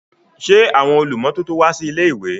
Ṣé àwọn olùmọ́tótó wá sí ilé-ìwé?